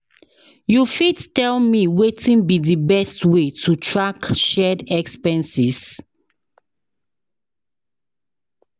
you fit tell me wetin be di best way to track shared expenses?